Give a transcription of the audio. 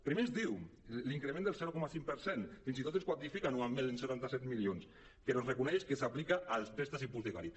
primer ens diu increment del zero coma vint cinc per cent i fins i tot el quantifica anualment en setanta set milions però reconeix que s’aplica als préstecs hipotecaris